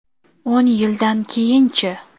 O‘n yildan keyinchi?